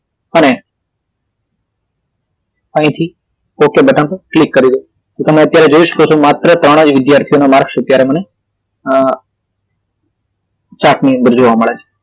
અને અહીથી okay button પર ક્લિક કરી લો તમે અત્યારે જોઈ શકો છો કે માત્ર ત્રણ જ વિધ્યાર્થી ના માર્કસ અત્યારે મને chart ની અંદર જોવા મળે છે